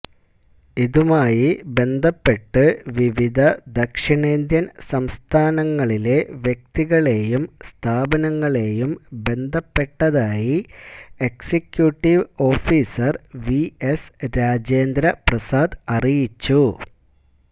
ഇതുമായി ബന്ധപ്പെട്ട് വിവിധ ദക്ഷിണേന്ത്യൻ സംസ്ഥാനങ്ങളിലെ വ്യക്തികളെയും സ്ഥാപനങ്ങളെയും ബന്ധപ്പെട്ടതായി executive officer V S Rajendraprasad അറിയിച്ചു